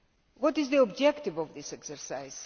What is the objective of this exercise?